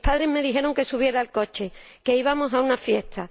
Mis padres me dijeron que subiera al coche, que íbamos a una fiesta.